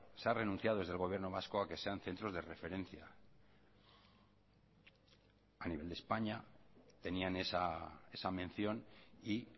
se ha renunciado desde el gobierno vasco a que sean centros de referencia a nivel de españa tenían esa mención y